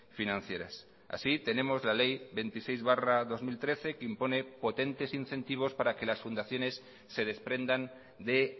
financieras así tenemos la ley veintiséis barra dos mil trece que impone potentes incentivos para que las fundaciones se desprendan de